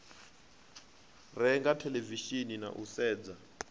renga theḽevishini na u sedza